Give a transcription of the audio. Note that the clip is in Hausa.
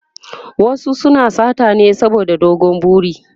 wasu suna sata ne saboda dogon buri